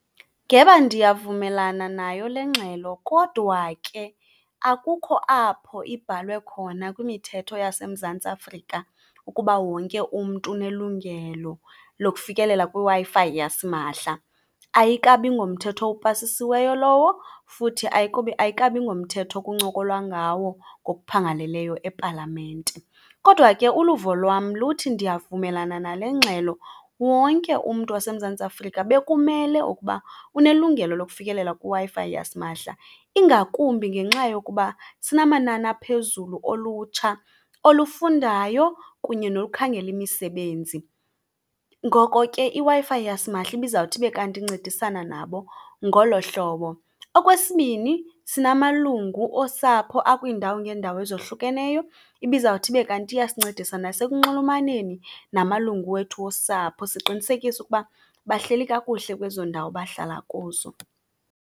Ngeba ndiyavumelana nayo le ngxelo kodwa ke akukho apho ibhalwe khona kwimithetho yaseMzantsi Afrika ukuba wonke umntu unelungelo lokufikelela kwiWi-Fi yasimahla. Ayikabi ngomthetho upasisiweyo lowo futhi ayikabi ngomthetho kuncokolwa ngawo ngokuphangaleleyo ePalamente. Kodwa ke uluvo lwam luthi, ndiyavumelana nale ngxelo. Wonke umntu waseMzantsi Afrika bekumele ukuba unelungelo lokufikelela kwiWi-Fi yasimahla, ingakumbi ngenxa yokuba sinamanani aphezulu olutsha olufundayo kunye nolukhangela imisebenzi. Ngoko ke iWi-Fi yasimahla ibizawuthi ibe kanti incedisana nabo ngolo hlobo. Okwesibini, sinamalungu osapho akwiindawo ngeendawo ezohlukeneyo, ibizawuthi ibe kanti iyasinceda nasekunxulumaneni namalungu wethu osapho, siqinisekiso ukuba bahleli kakuhle kwezo ndawo bahlala kuzo.